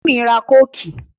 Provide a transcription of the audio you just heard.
Tímì ra Kóòkì